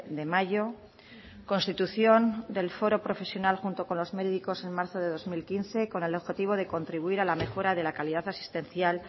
de mayo constitución del foro profesional junto con los médicos en marzo de dos mil quince con el objetivo de contribuir a la mejora de la calidad asistencial